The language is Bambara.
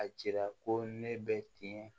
A jira ko ne bɛ tiɲɛ